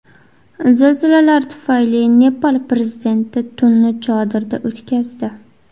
Zilzilalar tufayli Nepal prezidenti tunni chodirda o‘tkazdi.